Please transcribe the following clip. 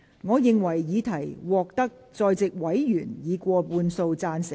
我認為議題獲得在席委員以過半數贊成。